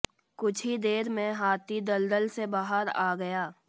कुछ ही देर में हाथी दलदल से बाहर आ गया